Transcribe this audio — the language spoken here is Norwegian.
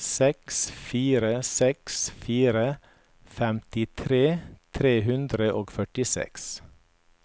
seks fire seks fire femtitre tre hundre og førtiseks